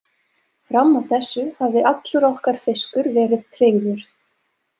Fram að þessu hafði allur okkar fiskur verið tryggður.